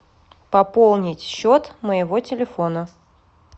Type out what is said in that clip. пополнить счет моего телефона